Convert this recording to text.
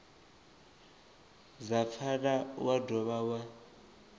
dza pfala wa dovha wa